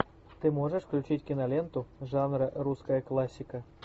ты можешь включить киноленту жанра русская классика